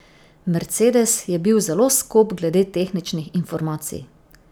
Mercedes je bil zelo skop glede tehničnih informacij.